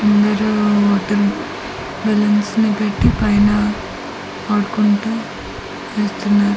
ముందు రూమ్ మొత్తం బెలూన్స్ నీ పెట్టి పైన ఆడుకుంటు చేస్తున్నారు.